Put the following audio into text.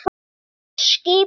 Þýsku skipin.